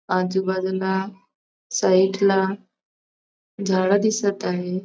आजूबाजूला साईडला झाडं दिसत आहे.